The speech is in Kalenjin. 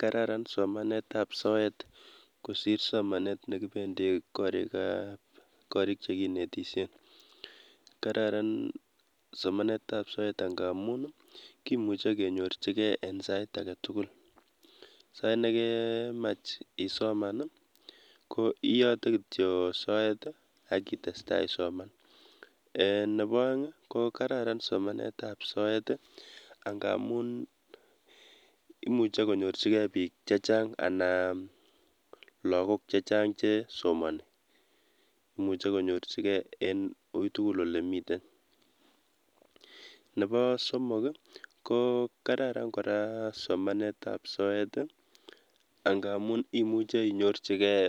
Kararan somanetab soet kosir somanet ne kibendi korikab, korik che kinetishe. Kararan somanetab soet ngamun kimuche kenyorjigei en sait age tugul, sait ne kemech isoman ko iyote kityo soet akitestai isoman. um Nebo oeng ko kararan somanetab soet ngamun imuche konyorjigei biik ce chang ann lakok che chang che somani, imuche konyorjigei en oitugul ole miten. Nebo somok ko kararan kora somanetab soet ngamun imuche inyorjigei